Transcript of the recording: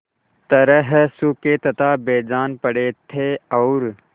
तरह सूखे तथा बेजान पड़े थे और